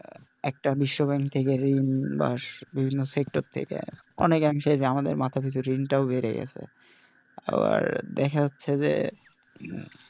একটা বিশ্ব bank থেকে ঋণ বা বিভিন্ন sector থেকে অনেক অংশে এই যে আমাদের মাথার ভেতরে ঋণটাও বেড়ে গেছে আবার দেখা যাচ্ছে যে,